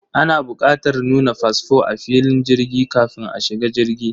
Ana bukatar nuna fasfo a filin jirgi kafin a shiga jirgi.